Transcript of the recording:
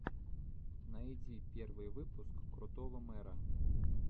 найди первый выпуск крутого мэра